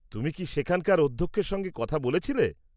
তুমি কি সেখানকার অধ্যক্ষের সঙ্গে কথা বলেছিলে?